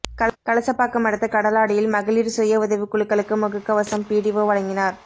கலசபாக்கம் அடுத்த கடலாடியில் மகளிர் சுய உதவி குழுக்களுக்கு முகக்கவசம் பிடிஓ வழங்கினார்